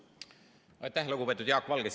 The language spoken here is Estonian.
Aitäh, lugupeetud Jaak Valge!